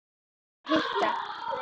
Ég var að fara að hitta